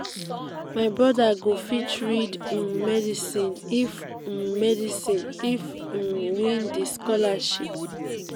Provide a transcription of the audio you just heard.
my broda go fit read um medicine if um medicine if im um win di scholarship.